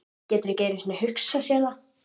Getur ekki einu sinni hugsað sér það.